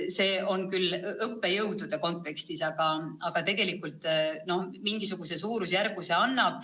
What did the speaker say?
Seal on küll mõeldud õppejõude, aga tegelikult mingisuguse suurusjärgu see annab.